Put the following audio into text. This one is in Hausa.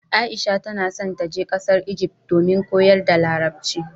Aisha ta na so ta je ƙasar Ijift domin koyar da larabci